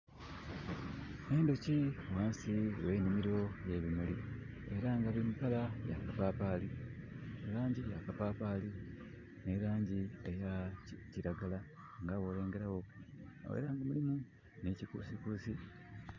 Endhoki ghansi gh'enhimiro y'ebimulu. Era nga biri mu kala ya kapapaali, e langi ya kapapaali, ni langi eya kiragala. Nga bwolengera wo, era nga mulimu n'ekuusikuusi.